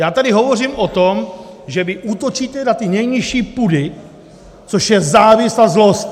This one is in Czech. Já tady hovořím o tom, že vy útočíte na ty nejnižší pudy, což je závist a zlost!